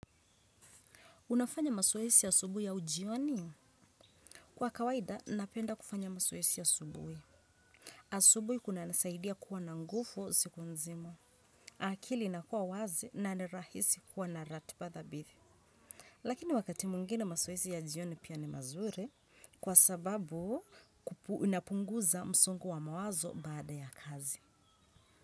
Unafanya masoesi asubui au jioni? Kwa kawaida, napenda kufanya masoesi asubui. Asubuhi kuna nisaidia kuwa na ngufu siku nzima. Akili inakuwa wazi na nirahisi kuwa na ratipa dhabithi. Lakini wakati mungine masoesi ya jioni pia ni mazuri kwa sababu unapunguza msongo wa mawazo baada ya kazi.